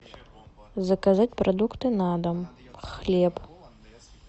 заказать продукты на дом хлеб